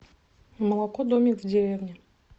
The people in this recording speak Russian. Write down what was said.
молоко домик в деревне